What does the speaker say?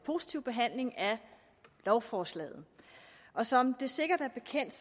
positive behandling af lovforslaget som det sikkert er bekendt